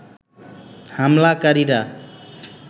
হামলাকারীরা